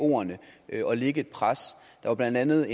ordene og lægge et pres der var blandt andet